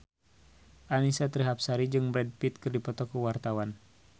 Annisa Trihapsari jeung Brad Pitt keur dipoto ku wartawan